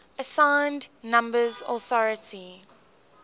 assigned numbers authority